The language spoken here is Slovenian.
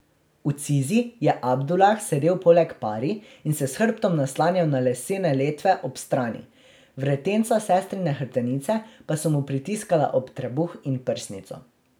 V cizi je Abdulah sedel poleg Pari in se s hrbtom naslanjal na lesene letve ob strani, vretenca sestrine hrbtenice pa so mu pritiskala ob trebuh in prsnico.